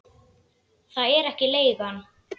Það er ekki leigan.